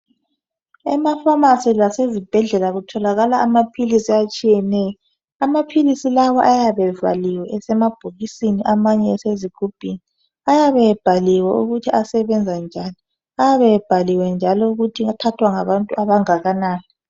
Emafamasi lasezibhedlela kutholakala amaphilisi atshiyeneyo. Amaphilisi lawa ayabe evaliwe esemabhokisini amanye esezigumbini ayabe ebhaliwe ukuthi asebenza njani ayabe ebhaliwe njalo ukuthi aphathwa ngabantu abangakanani.